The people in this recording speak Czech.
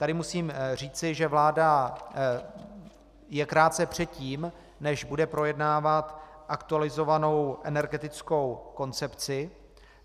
Tady musím říci, že vláda je krátce předtím, než bude projednávat aktualizovanou energetickou koncepci.